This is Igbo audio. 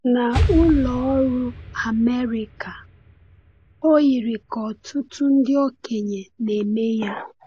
N’Ụlọ Ọrụ Amerịka, o yiri ka ọtụtụ ndị okenye na-eme ya.